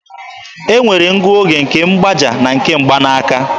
E nwere ngụoge nke mgbaaja na nke mgbanaaka